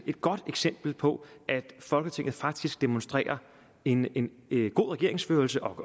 godt eksempel på at folketinget faktisk demonstrerer en en god regeringsførelse og